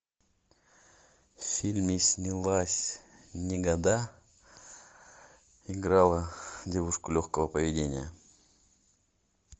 в фильме снялась негода играла девушку легкого поведения